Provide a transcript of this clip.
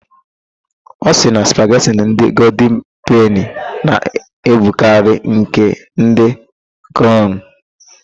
Ọ sịrị na spagheti ndị goldin peni na-ebukarị nke ndị craụn.